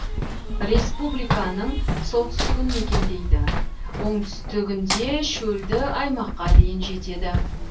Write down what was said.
республиканың солтүстігін мекендейді оңтүстігінде шөлді аймаққа дейін жетеді